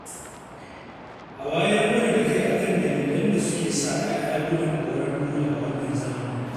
A wayar mana da kai a kan dalilan da suke sa 'ya'ya gudun auren dole a wannan zamani.